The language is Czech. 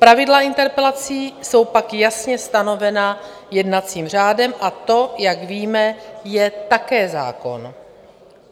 Pravidla interpelací jsou pak jasně stanovena jednacím řádem a to, jak víme, je také zákon.